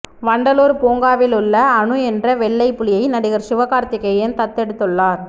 வண்டலூர் பூங்காவில் உள்ள அனு என்ற வெள்ளைப் புலியை நடிகர் சிவகார்த்திகேயன் தத்தெடுத்துள்ளார்